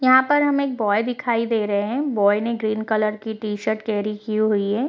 यहाँ पर हमें एक बॉय दिखाई दे रहें हैं बॉय ने ग्रीन कलर की टी-शर्ट कैरी की हुई है।